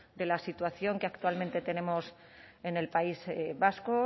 de la situación que actualmente tenemos en el país vasco